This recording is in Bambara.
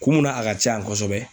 Kun mun na a ka ca yan kɔsɛbɛ